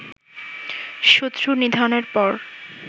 শত্রু নিধনের পর